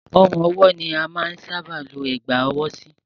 Ọrùn ọwọ́ ni a máa n sábà ọ Ẹ̀gbá ọwọ́ sí